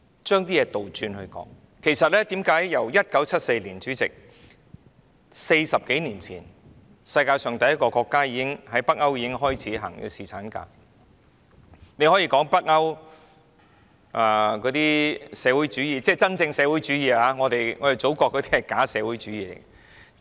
主席，其實在1974年 ，40 多年前，北歐國家已經率先推行侍產假，大家可以說北歐推行社會主義——是真正的社會主義，我們祖國的是假社會主義。